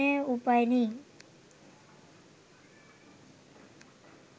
এখানে উপায় নেই